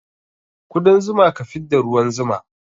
Kudan zuma ka fidda ruwan zuma